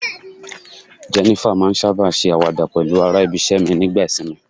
Jenifer ma n saba ṣe awada pẹlu ara ibise mi nigba isinmi